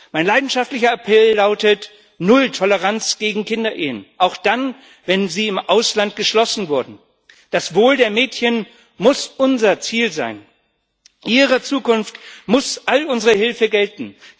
Mein leidenschaftlicher Appell lautet Null Toleranz gegen Kinderehen, auch dann, wenn sie im Ausland geschlossen wurden! Das Wohl der Mädchen muss unser Ziel sein, ihrer Zukunft muss all unsere Hilfe gelten.